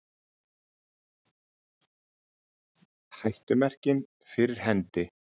Hættumerkin fyrir hendi